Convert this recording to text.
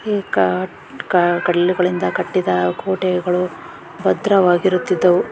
ಈ ಕಾಟ್ ಕಾ ಕಲ್ಲುಗಳಿಂದ ಕೋಟೆಗಳು ಭದ್ರವಾಗಿರುತಿದ್ದವು.